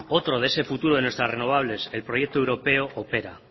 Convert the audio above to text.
otro de ese futuro de nuestras renovables el proyecto europeo opera